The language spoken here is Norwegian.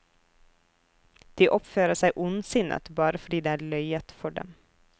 De oppfører seg ondsinnet bare fordi det er løyet for dem.